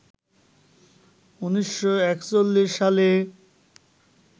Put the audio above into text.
১৯৪১ সালে